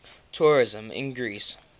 tourism in greece